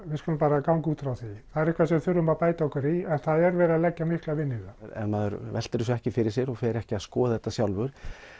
við skulum ganga út frá því það er eitthvað sem við þurfum að bæta okkur í en það er verið að leggja mikla vinnu í það ef maður veltir þessu ekki fyrir sér og fer ekki að skoða þetta sjálfur